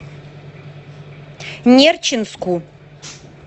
нерчинску